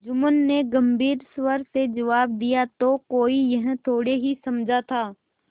जुम्मन ने गम्भीर स्वर से जवाब दियातो कोई यह थोड़े ही समझा था